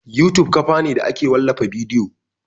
YouTube kafa ne da ake wallafa bidiyo